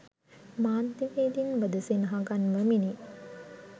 මාධ්‍යවේදීන්වද සිනහ ගන්වමිනි